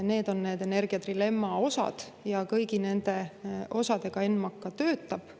Need on need energiatrilemma osad ja kõigi nende osade kallal ENMAK töötab.